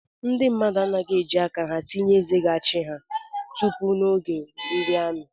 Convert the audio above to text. Ndị mmadụ anaghị eji aka ha tinye eze ga-achị ha tupu n’oge ndi amị